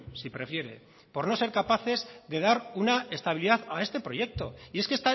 si prefiere por no ser capaces de dar una estabilidad a este proyecto y es que